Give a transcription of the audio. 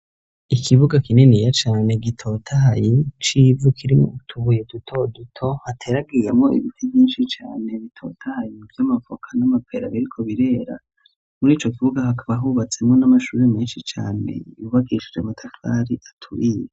Ikibuga kininiya cane gitotahaye c'ivu kirimwo utubuye dutoduto, hateragiramwo ibiti vyinshi cane bitotahaye vy'amavoka n'amapera biriko birera, muri ico kibuga hakaba hubatsemo n'amashure menshi cane yubakishije amatafari aturiye.